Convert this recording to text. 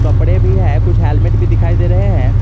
कपड़े भी है कुछ हेलमेट भी दिखाई दे रहे हैं।